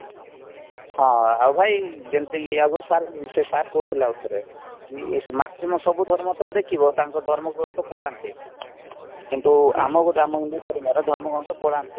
ହଁ ଆଉ ଭାଇ ଯେମିତି ଆଉଗୋଟିଏ ସାରେ ସେ ସାରେ କହୁଥିଲେ ଆଉଥରେ କି maximum ସବୁ ଧର୍ମ ତମେ ଦେଖିବ ତାଙ୍କ ଧର୍ମଗ୍ରନ୍ଥ ପଢାନ୍ତି କିନ୍ତୁ ଆମ ଗୋଟେ ଆମେ ହିନ୍ଦୁ ଧର୍ମର ଧର୍ମଗ୍ରନ୍ଥ ପଢ଼ାନ୍ତିନି